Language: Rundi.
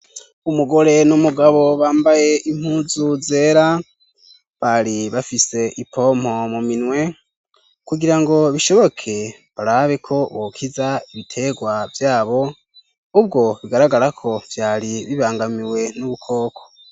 Umugore n'umugabo bambaye impuzu zera bari bafise ipompo mu minwe kugira ngo bishoboke barabe ko bokiza ibiterwa vyabo ubwo bigaragara ko vyari bibangamiwe n'ubukoko.